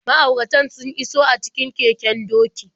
Ma'auratan sun iso a cikin keken doki.